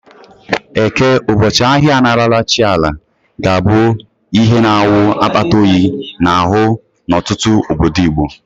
Eke, ụbọchị ahịa a na-arara chi Ala, ga-abụ ihe na-awụ akpata oyi n'ahụ n'ọtụtụ obodo Igbo.